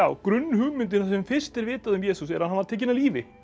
grunnhugmyndin það sem fyrst er vitað um Jesús er að hann var tekinn af lífi